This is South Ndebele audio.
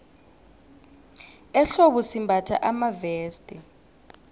ehlobo simbatha amaveste